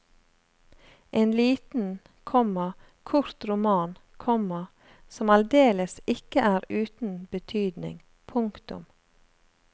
En liten, komma kort roman, komma som aldeles ikke er uten betydning. punktum